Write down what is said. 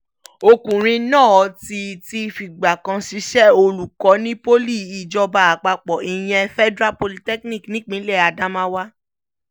ọkùnrin náà ti ti fìgbà kan ṣiṣẹ́ olùkọ́ ní poli ìjọba àpapọ̀ ìyẹn federal polytechnic nípínlẹ̀ adamawa